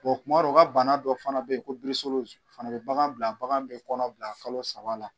kuma dɔ u ka bana dɔ fana bɛ ye ko o fana bɛ bagan bila bagan bɛ kɔnɔ bila kalo saba la.